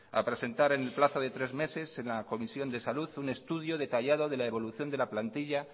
a presentar en el plazo de tres meses en la comisión de salud un estudio detallado de la evolución de la plantilla